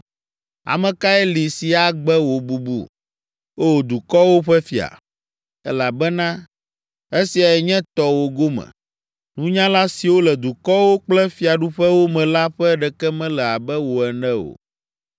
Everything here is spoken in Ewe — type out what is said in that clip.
Ame kae li si agbe wò bubu, O dukɔwo ƒe Fia? Elabena esiae nye tɔwò gome. Nunyala siwo le dukɔwo kple fiaɖuƒewo me la ƒe ɖeke mele abe wò ene o.